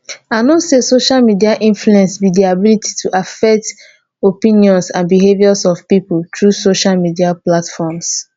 i know say social media influence be di ability to affect opinions and behaviors of people through social media platforms.